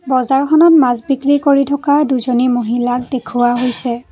বজাৰখনত মাছ বিক্ৰী কৰি থকা দুজনী মহিলাক দেখুওৱা হৈছে।